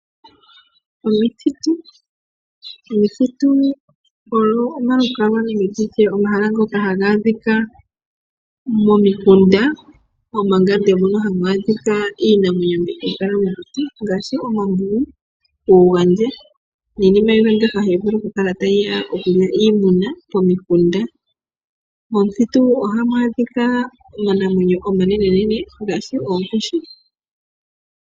Omithitu Omithitu ogo omahala ngoka haga adhika momikunda, omangande moka hamu adhika iinamwenyo mbyoka hayi kala mokuti ngaashi omambungu, ookaandje niinima mbyoka hayi vulu okukala tayi ya okulya iimuna pomikunda. Momuthitu ohamu adhika omanamwenyo omanenene ngaashi oonkoshi.